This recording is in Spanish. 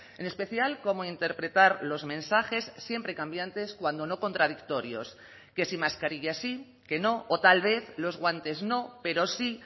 en especial cómo interpretar los mensajes siempre cambiantes cuando no contradictorios que si mascarillas sí que no o tal vez los guantes no pero sí